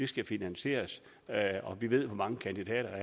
skal finansieres og vi ved hvor mange kandidater